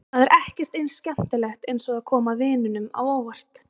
Það er ekkert eins skemmtilegt eins og að koma vinunum á óvart.